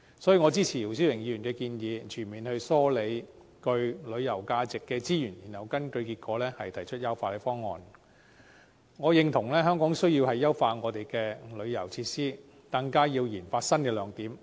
所以，我支持姚思榮議員的議案，要全面梳理具旅遊價值的資源，然後根據結果，提出優化方案。我認同香港需要優化旅遊設施，更要研發新的亮點。